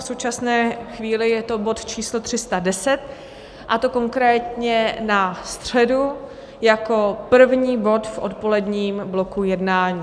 V současné chvíli je to bod číslo 310, a to konkrétně na středu jako první bod v odpoledním bloku jednání.